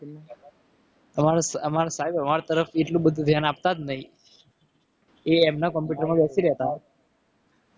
અમારી સાહેબ અમારા તરફથી એટલું બધું ધ્યાન આપતા જ નહીં. એ એમના computer માં બેસી રહેતા.